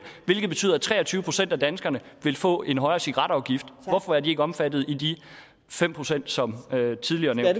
hvilket betyder at tre og tyve procent af danskerne vil få en højere cigaretafgift hvorfor er de ikke omfattet i de fem procent som tidligere